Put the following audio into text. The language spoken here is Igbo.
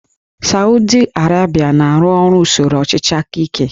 Sawdi Arabia na-arụ ọrụ usoro ọchịchị aka ike